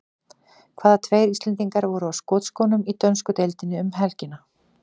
Hvaða tveir Íslendingar voru á skotskónum í dönsku deildinni um helgina?